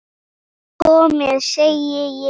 Komiði, segi ég!